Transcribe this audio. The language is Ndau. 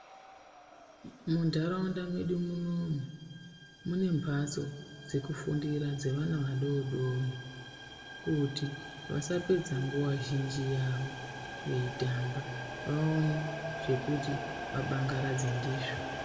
Muntaraunda medu munomu, mune mphatso dzekufundira dzevana vadodori, kuti vasapedza nguwa zhinji yavo veitamba ,vaone zvekuti vabangaradze ndizvo.